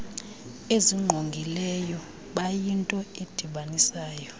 ezingqongileyo bayinto edibanisayo